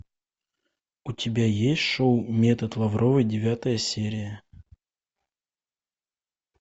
у тебя есть шоу метод лавровой девятая серия